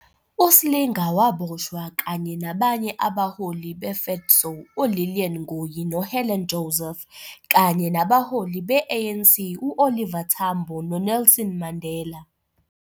USlinga waboshwa kanye nabanye abaholi be - FEDSAW uLilian Ngoyi noHelen Joseph, kanye nabaholi be-ANC u-Oliver Tambo noNelson Mandela.